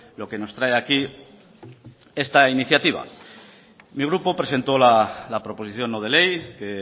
lo que nos trae aquí esta iniciativa mi grupo presentó la proposición no de ley que